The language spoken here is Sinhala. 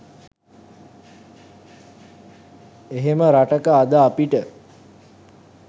එහෙම රටක අද අපිට